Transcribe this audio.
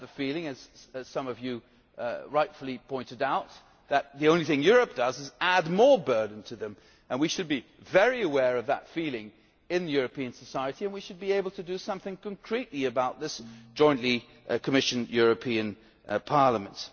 them. They have the feeling, as some of you rightly pointed out, that the only thing Europe does is add more burden to them, and we should be very aware of that feeling in European society, and we should be able to do something concretely about this jointly as the Commission European Parliament.